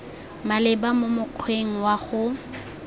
maleba mo mokgweng wa go